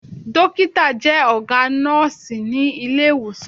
Dọ́kítà jẹ́ ọ̀gá nọ́ọ̀sí ní Ilé-ìwòsàn.